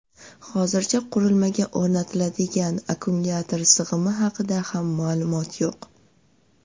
Hozircha qurilmaga o‘rnatiladigan akkumulyator sig‘imi haqida ham ma’lumot yo‘q.